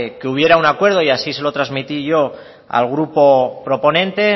que hubiera un acuerdo y así se lo transmití yo al grupo proponente